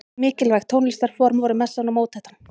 Mikilvæg tónlistarform voru messan og mótettan.